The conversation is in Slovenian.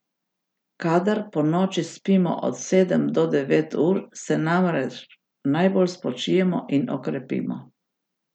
Kadar ponoči spimo od sedem do devet ur, se namreč najbolj spočijemo in okrepimo.